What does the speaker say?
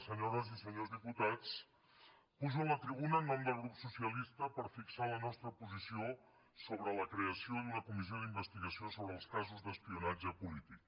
senyores i senyors diputats pujo a la tribuna en nom del grup socialista per fixar la nostra posició sobre la creació d’una comissió d’investigació sobre els casos d’espionatge polític